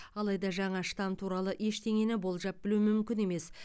алайда жаңа штам туралы ештеңені болжап білу мүмкін емес